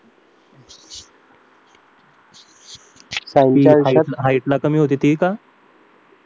height ला कमी होती ती का